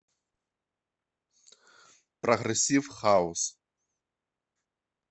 прогрессив хаус